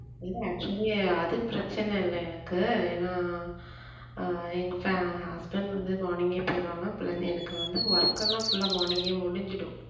இல்ல actually அது பிரச்சனை இல்லை எனக்கு ஏன்னா ஆஹ் எங்க fa~ husband வந்து morning ஏ போயிடுவாங்க பிள்~ எனக்கு வந்து work எல்லாம் full ஆ morning ஏ முடிஞ்சிடும்